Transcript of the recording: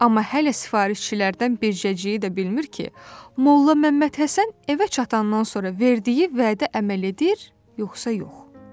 Amma hələ sifarişçilərdən bircəciyi də bilmir ki, Molla Məmmədhəsən evə çatandan sonra verdiyi vədə əməl edir, yoxsa yox?